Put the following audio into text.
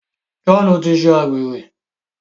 John tí ṣe àgbèrè.